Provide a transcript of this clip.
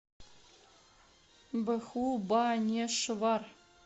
бхубанешвар